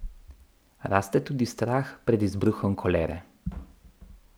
Raste tudi strah pred izbruhom kolere.